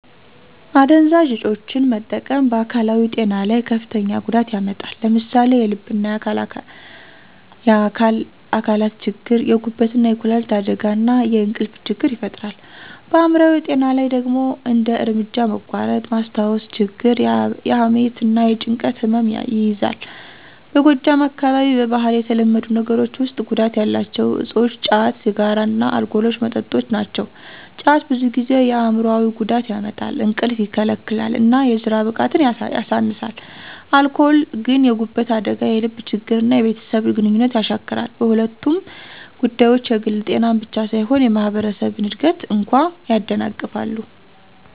አደንዛዥ እፆችን መጠቀም በአካላዊ ጤና ላይ ከፍተኛ ጉዳት ያመጣል። ለምሳሌ የልብና የአካል አካላት ችግር፣ የጉበትና የኩላሊት አደጋ፣ እና የእንቅልፍ ችግር ይፈጥራል። በአይምሮአዊ ጤና ላይ ደግሞ እንደ እርምጃ መቋረጥ፣ ማስታወስ ችግር፣ የሐሜት እና የጭንቀት ህመም ይያዛል። በጎጃም አካባቢ በባህል የተለመዱ ነገሮች ውስጥ ጉዳት ያላቸው እፆች ጫት፣ ሲጋራ እና አልኮል መጠጦች ናቸው። ጫት ብዙ ጊዜ የአይምሮአዊ ጉዳት ያመጣል፣ እንቅልፍ ይከለክላል እና የስራ ብቃትን ያሳንሳል። አልኮል ግን የጉበት አደጋ፣ የልብ ችግር እና የቤተሰብ ግንኙነት ያሻክራል። በሁለቱም ጉዳቶች የግል ጤናን ብቻ ሳይሆን የማህበረሰብን እድገት እንኳ ያደናቅፋሉ።